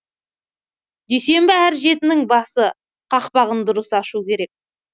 дүйсенбі әр жетінің басы қақпағын дұрыс ашу керек